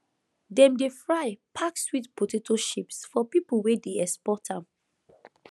dem dey fry pack sweet potato chips for people wey dey export am